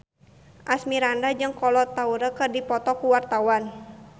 Asmirandah jeung Kolo Taure keur dipoto ku wartawan